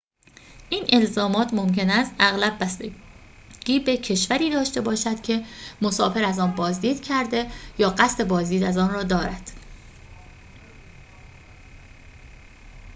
این الزامات ممکن است اغلب بستگی به کشوری داشته باشد که مسافر از آن بازدید کرده یا قصد بازدید از آن را دارد